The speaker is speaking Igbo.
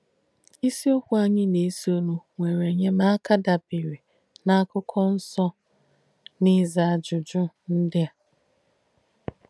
Isìokwú ànyì nà-èsònù nwére ènyémàka dàbére n’Àkụ̀kọ̣ Nsọ́ n’íza àjùjù ndí à.